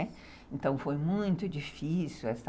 Então foi muito difícil essa...